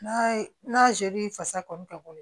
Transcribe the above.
N'a ye n'a fasa kɔni ka bɔ